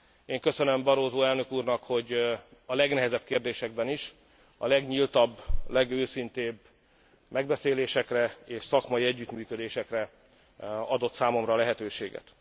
Én köszönöm Barroso elnök úrnak, hogy a legnehezebb kérésekben is a legnyíltabb, legőszintébb megbeszélésekre és szakmai együttműködésekre adott számomra lehetőséget.